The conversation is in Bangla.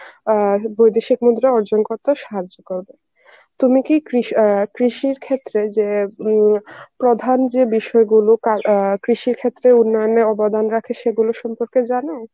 অ্যাঁ বৈদেশিক মুদ্রা অর্জন করতে সাহায্য করবে. তুমি কি কৃষ~ অ্যাঁ কৃষির ক্ষেত্রে যে উম প্রধান যে বিষয়গুলো কা~ অ্যাঁ কৃষির ক্ষেত্রে উন্নয়নে অবদান রাখে সেগুলো সম্পর্কে জানো?